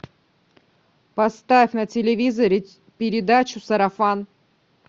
поставь на телевизоре передачу сарафан